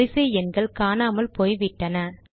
வரிசை எண்கள் காணாமல் போய்விட்டன